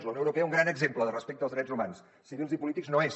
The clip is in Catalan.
la unió europea un gran exemple de respecte pels drets humans civils i polítics no ho és